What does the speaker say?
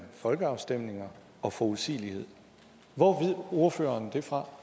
folkeafstemninger og forudsigelighed hvor ved ordføreren det fra